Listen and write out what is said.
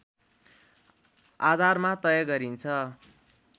आधारमा तय गरिन्छ